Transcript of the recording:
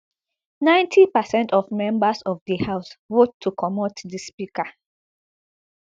ninety percent of members of di house vote to comot di speaker